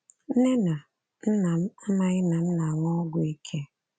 Nne na nna m amaghị na m na-anwụ ọgwụ ike.